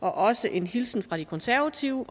har også en hilsen fra de konservative